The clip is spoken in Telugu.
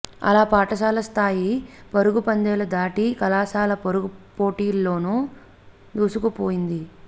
అలా పాఠశాల స్థాయి పరుగు పందేలు దాటి కళాశాల పరుగు పోటీల్లోను దూసుకుపోయింది